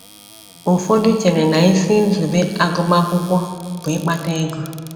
Ụfọdụ chere na isi nzube agụmakwụkwọ bụ ịkpata ego.